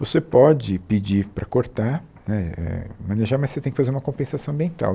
Você pode pedir para cortar, né éh manejar, mas você tem que fazer uma compensação ambiental.